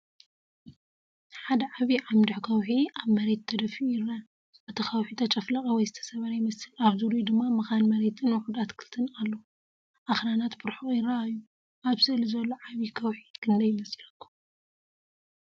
ሓደ ዓቢ ዓምዲ ከውሒ ኣብ መሬት ተደፊኡ ይርአ። እቲ ከውሒ ተጨፍለቐ ወይ ዝተሰብረ ይመስል፣ ኣብ ዙርያኡ ድማ መኻን መሬትን ውሑድ ኣትክልትን ኣሎ። ኣኽራናት ብርሑቕ ይረኣዩ። ኣብ ስእሊ ዘሎ ዓቢ ከውሒ ክንደይ ይመስለኩም?